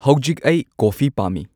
ꯍꯧꯖꯤꯛ ꯑꯩ ꯀꯣꯐꯤ ꯄꯥꯝꯃꯤ